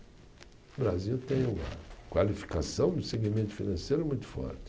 O Brasil tem uma qualificação do segmento financeiro muito forte.